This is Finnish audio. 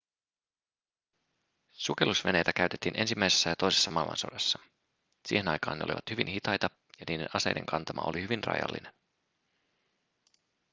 sukellusveneitä käytettiin ensimmäisessä ja toisessa maailmansodassa siihen aikaan ne olivat hyvin hitaita ja niiden aseiden kantama oli hyvin rajallinen